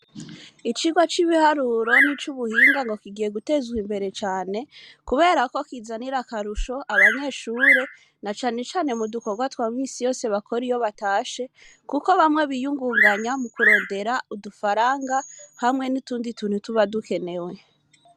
Icirwa c'ibiharuro n'ico ubuhinga ngo kigiye gutezwa imbere cane, kubera ko kizanira akarusho abanyeshure na canecane mu dukorwa twa misi yose bakora iyo batashe, kuko bamwe biyungunganya mu kurondera udufaranga hamwe n'itundi tuntu tuba dukenewe.